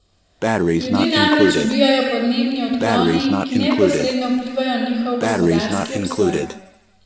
Ljudi namreč ubijajo podnebni odkloni, ki neposredno vplivajo na njihov gospodarski obstoj.